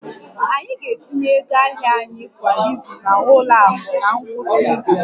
Anyị ga-etinye ego ahịa anyị kwa izu na ụlọ akụ na ngwụsị izu